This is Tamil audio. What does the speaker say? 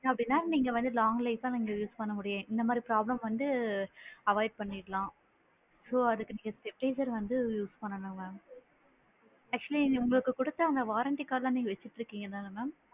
அப்படின்னா நீங்க வந்து longlife பா நம்ம use பண்ண முடியும், இந்த மாதிரி problem வந்து avoid பண்ணிக்கலாம் so அதுக்கு நீங்க stabiliser வந்து use பண்ணனும் mam actually உங்களுக்கு குடுத்த warranty card வெச்சிட்டு இருக்கீங்கதானு mam